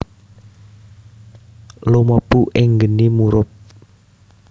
Lumebu ing geni murub